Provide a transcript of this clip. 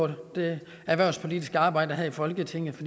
det erhvervspolitiske arbejde her i folketinget